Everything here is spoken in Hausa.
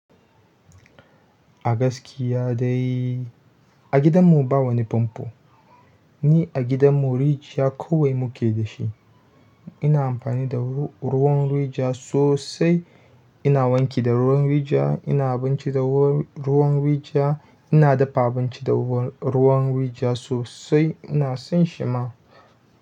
A gaskiya dai a gidanmu ba wani famfo ni a gidan mu rijiya kawai muke dashi ina amfani da ruwan rijiya sosai. Ina wanki da ruwan rijiya, ina abinci da ruwan rijiya, ina dafa abinci da ruwan rijiya sosai. Ina son shi ma.